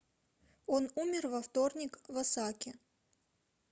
он умер во вторник в осаке